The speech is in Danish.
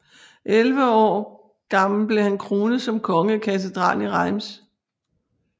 Elleve år gammel blev han kronet som konge i katedralen i Reims